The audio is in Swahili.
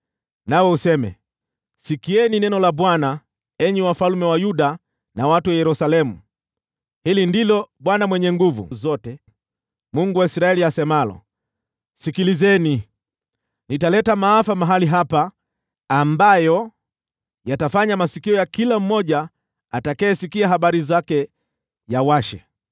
nawe useme, ‘Sikieni neno la Bwana , enyi wafalme wa Yuda na watu wa Yerusalemu. Hili ndilo Bwana Mwenye Nguvu Zote, Mungu wa Israeli, asemalo: Sikilizeni! Nitaleta maafa mahali hapa, ambayo yatafanya masikio ya kila mmoja atakayesikia habari zake yawashe.